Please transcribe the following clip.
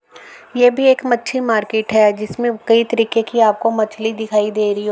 ये भी एक मच्छी मार्किट है। जिसमें कई तरीके की आपको मछली दिखाई दे रही --